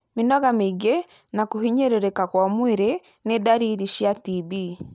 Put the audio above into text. Mĩnoga mĩingi na kũhinyĩrĩrĩka kwa mwĩrĩ nĩ ndariri cia TB.